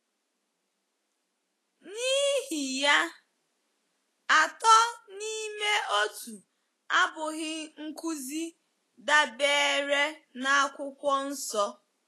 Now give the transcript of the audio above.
N’ihi ya, Atọ n’Ime Otu abụghị nkụzi dabeere n’Akwụkwọ Nsọ.